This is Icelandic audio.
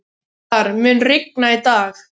Tindar, mun rigna í dag?